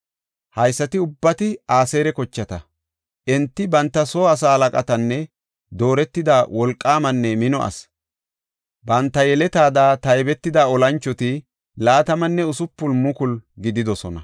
Haysati ubbati Aseera kochata. Enti banta soo asaa halaqatanne dooretida wolqaamanne mino asi. Banta yeletada taybetida olanchoti 26,000 gididosona.